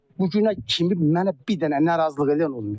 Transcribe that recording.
Bugünə kimi mənə bir dənə narazılıq eləyən olmayıb.